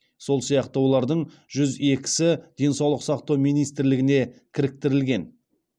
сол сияқты олардың жүз екісі денсаулық сақтау министрлігіне кіріктірілген